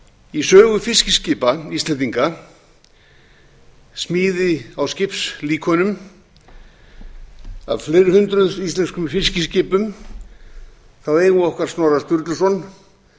í sögu fiskiskipa íslendinga smíði á skipalíkönum af fleiri hundruð íslenskum fiskiskipum eigum við okkar snorra sturluson